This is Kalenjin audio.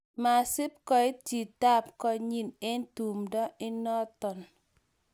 masibkoit chitoab konyin en tumdo inonton